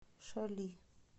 шали